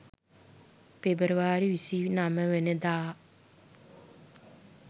පෙබරවාරි 29 වන දා